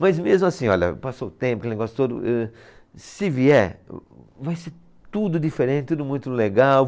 Mas mesmo assim, olha, passou o tempo aquele negócio todo êh, se vier, vai ser tudo diferente, tudo muito legal.